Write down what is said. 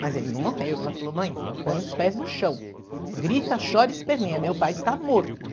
Mas ele não morreu, ela falou, mãe, põe os pés no chão, grita, chora e esperneia, meu pai está morto.